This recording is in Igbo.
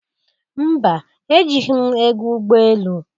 Mba! Ejighi m ego ụgbọ elu.